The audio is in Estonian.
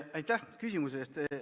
Aitäh küsimuse eest!